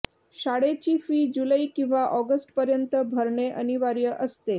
शाळेची फी जुलै किंवा ऑगस्ट पर्यंत भरणे अनिवार्य असते